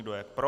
Kdo je pro?